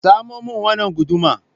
Samo min wannan guduma.